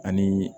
Ani